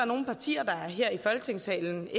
nogle partier her i folketingssalen